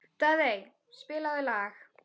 Daðey, spilaðu lag.